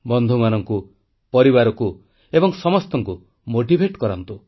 ବନ୍ଧୁମାନଙ୍କୁ ପରିବାରକୁ ଏବଂ ସମସ୍ତଙ୍କୁ ଅନୁପ୍ରାଣିତ କରନ୍ତୁ